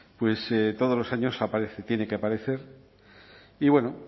pues todos los años aparece tiene que aparecer y bueno